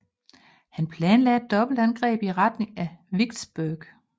Han planlagde et dobbeltangreb i retning af Vicksburg